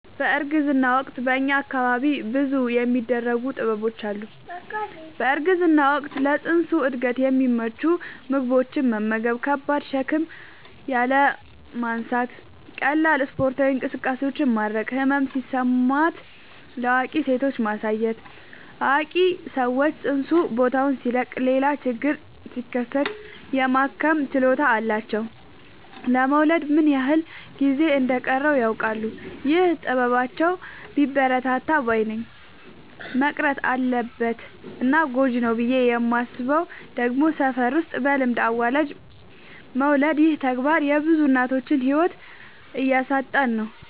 በእርግዝና ወቅት በእኛ አካባቢ ብዙ የሚደረጉ ጥበቦች አሉ። በእርግዝና ወቅት ለፅንሱ እድገት የሚመቹ ምግቦችን መመገብ። ከባድ ሸክም ያለማንሳት ቀላል ስፓርታዊ እንቅስቃሴዎችን ማድረግ። ህመም ሲሰማት ለአዋቂ ሴቶች ማሳየት አዋቂ ሰዎች ፅንሱ ቦታውን ሲለቅ ሌላ ችግር ሲከሰት የማከም ችሎታ አላቸው ለመወለድ ምን ያክል ጊዜ እንደ ሚቀረውም ያውቃሉ። ይህ ጥበባቸው ቢበረታታ ባይነኝ። መቅረት አለበት እና ጎጂ ነው ብዬ የማስበው ደግሞ ሰፈር ውስጥ በልምድ አዋላጅ መውለድ ይህ ተግባር የብዙ እናቶችን ህይወት እያሳጣን ነው።